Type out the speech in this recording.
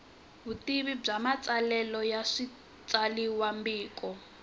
vutivi bya matsalelo ya switsalwambiko